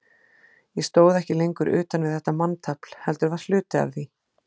Ég stóð ekki lengur utan við þetta manntafl, heldur var hluti af því.